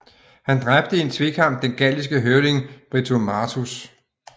Han dræbte i en tvekamp den galliske høvding Britomartus